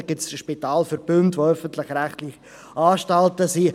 Da gibt es Spitalverbünde, die öffentlich-rechtliche Anstalten sind.